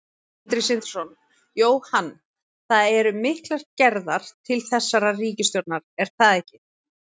Sindri Sindrason: Jóhann, það eru miklar gerðar til þessarar ríkisstjórnar er það ekki?